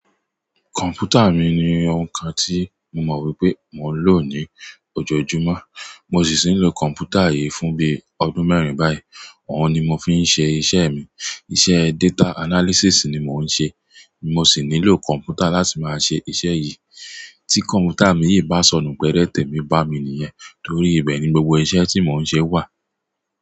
Kọ̀m̀pútà mi ni o ńkan tí mo mọ̀ wípé mo ń lò ní ọjọ́jumú. Mo ṣì ṣì ń lo kọ̀m̀pútà yìí fún bí ọdún mẹ́rin báyìí. Ọ̀un ni mo fi ń ṣe iṣẹ́ mi. Iṣẹ́ data analysis ni mo ń ṣe. Mo sì nílò kọ̀m̀pútà láti máa ṣe iṣẹ́ yìí. Tí kọ̀m̀pútà mi yìí bá sọ̀nù péré tèmí bá mi nìyẹn. Torí ibẹ̀ ni gbogbo iṣẹ́ tí mo ń ṣe wà.